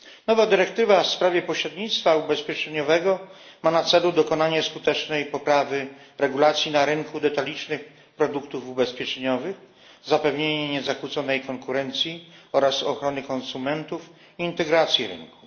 Nowa dyrektywa w sprawie pośrednictwa ubezpieczeniowego ma na celu dokonanie skutecznej poprawy regulacji na rynku detalicznych produktów ubezpieczeniowych, zapewnienie niezakłóconej konkurencji oraz ochrony konsumentów i integrację rynku.